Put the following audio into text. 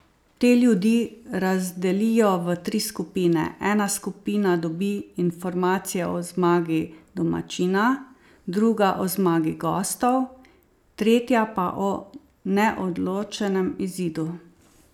Te ljudi razdelijo v tri skupine, ena skupina dobi informacije o zmagi domačina, druga o zmagi gostov, tretja pa o neodločenem izidu.